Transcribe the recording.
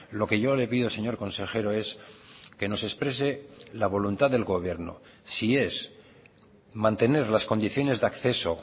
lo que yo le pido señor consejero es que nos exprese la voluntad del gobierno si es mantener las condiciones de acceso